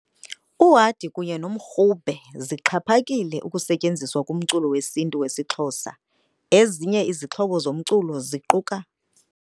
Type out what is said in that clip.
Uhadi kunye nomrhube zixhaphakile ukusetyenziswa kumculo wesintu wesiXhosa, ezinye izixhobo zomculo ziquka.